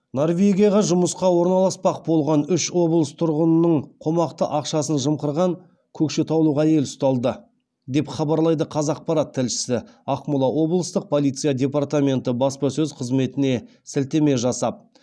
норвегияға жұмысқа орналаспақ болған үш облыс тұрғынының қомақты ақшасын жымқырған көкшетаулық әйел ұсталды деп хабарлайды қазақпарат тілшісі ақмола облыстық полиция департаменті баспасөз қызметіне сілтеме жасап